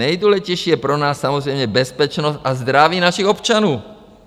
Nejdůležitější je pro nás samozřejmě bezpečnost a zdraví našich občanů.